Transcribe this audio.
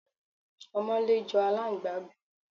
Ọmọlé jọ aláǹgbá gan.